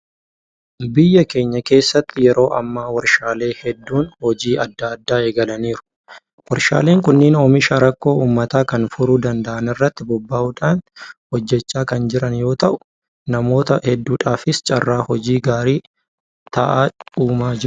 Biyya keenya keessatti yeroo ammaa warshaalee hedduun hojii adda addaa eegalaniiru. Warshaaleen kunneen oomisha rakkoo uummata kanaa furuu danda'an irratti bobba'uudhaan hojjechaa kan jira yoota'u; Namoota hedduudhaafis carraa hojii gaarii ta'a uumaa jiru.